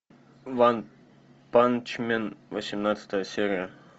ванпанчмен восемнадцатая серия